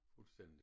Fuldstændig